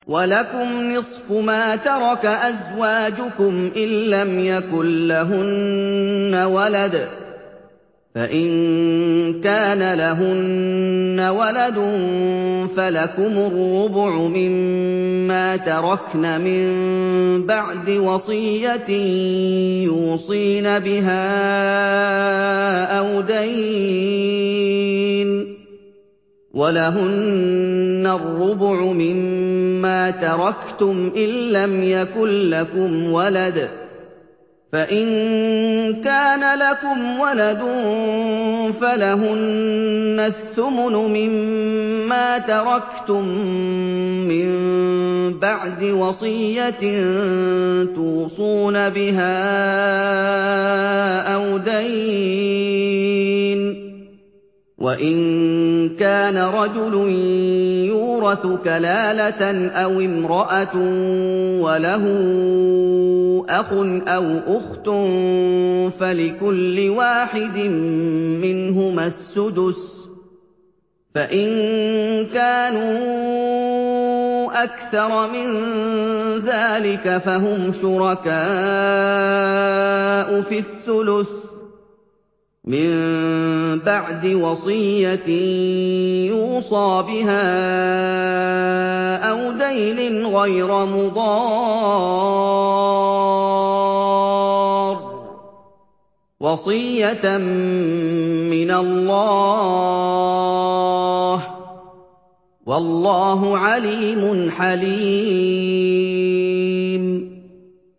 ۞ وَلَكُمْ نِصْفُ مَا تَرَكَ أَزْوَاجُكُمْ إِن لَّمْ يَكُن لَّهُنَّ وَلَدٌ ۚ فَإِن كَانَ لَهُنَّ وَلَدٌ فَلَكُمُ الرُّبُعُ مِمَّا تَرَكْنَ ۚ مِن بَعْدِ وَصِيَّةٍ يُوصِينَ بِهَا أَوْ دَيْنٍ ۚ وَلَهُنَّ الرُّبُعُ مِمَّا تَرَكْتُمْ إِن لَّمْ يَكُن لَّكُمْ وَلَدٌ ۚ فَإِن كَانَ لَكُمْ وَلَدٌ فَلَهُنَّ الثُّمُنُ مِمَّا تَرَكْتُم ۚ مِّن بَعْدِ وَصِيَّةٍ تُوصُونَ بِهَا أَوْ دَيْنٍ ۗ وَإِن كَانَ رَجُلٌ يُورَثُ كَلَالَةً أَوِ امْرَأَةٌ وَلَهُ أَخٌ أَوْ أُخْتٌ فَلِكُلِّ وَاحِدٍ مِّنْهُمَا السُّدُسُ ۚ فَإِن كَانُوا أَكْثَرَ مِن ذَٰلِكَ فَهُمْ شُرَكَاءُ فِي الثُّلُثِ ۚ مِن بَعْدِ وَصِيَّةٍ يُوصَىٰ بِهَا أَوْ دَيْنٍ غَيْرَ مُضَارٍّ ۚ وَصِيَّةً مِّنَ اللَّهِ ۗ وَاللَّهُ عَلِيمٌ حَلِيمٌ